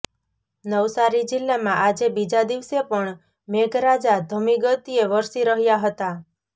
નવસારી જિલ્લામાં આજે બીજા દિવસે પણ મેઘરાજા ધમી ગતિએ વરસી રહ્યા હતા